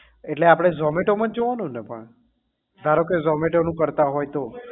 એટલે આપડે zomato માં જ જોવાનું ને પણ ધારો કે zomato નું કરતા હોય તો